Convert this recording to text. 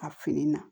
A fini na